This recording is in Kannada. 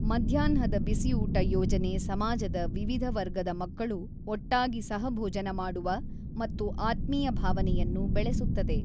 ಮಧ್ಯಾಹ್ನದ ಬಿಸಿಊಟ ಯೋಜನೆ ಸಮಾಜದ ವಿವಿಧ ವರ್ಗದ ಮಕ್ಕಳು ಒಟ್ಟಾಗಿ ಸಹ ಭೋಜನ ಮಾಡುವ ಮತ್ತು ಆತ್ಮೀಯ ಭಾವನೆಯನ್ನು ಬೆಳೆಸುತ್ತದೆ.